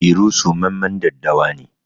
Iru tsumammen daddawa ne